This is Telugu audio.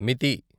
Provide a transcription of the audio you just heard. మితి